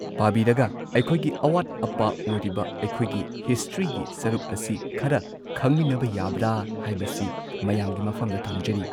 ꯄꯥꯕꯤꯔꯒ ꯑꯩꯈꯣꯏꯒꯤ ꯑꯋꯥꯠ ꯑꯄꯥ ꯑꯣꯏꯔꯤꯕ ꯑꯩꯈꯣꯏꯒꯤ ꯍꯤꯁꯇ꯭ꯔꯤꯒꯤ ꯁꯔꯨꯛ ꯑꯁꯤ ꯈꯔ ꯈꯪꯃꯤꯟꯅꯕ ꯌꯥꯕ꯭ꯔꯥ ꯍꯥꯏꯕꯁꯤ ꯃꯌꯥꯝꯒꯤ ꯃꯐꯝꯗ ꯊꯝꯖꯔꯤ